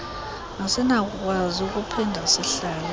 asinakukwazi ukuphinda sihlale